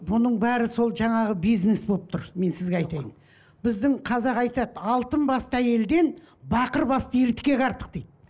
бұның бәрі сол жаңағы бизнес болып тұр мен сізге айтайын біздің қазақ айтады алтын басты әйелден бақыр басты ер артық дейді